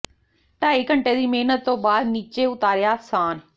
ਢਾਈ ਘੰਟੇਂ ਦੀ ਮਿਹਨਤ ਤੋਂ ਬਾਅਦ ਨਿੱਚੇ ਉਤਾਰਿਆ ਸਾਨ੍ਹ